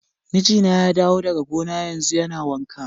Mijina ya dawo daga gona yanzu, yana wanka.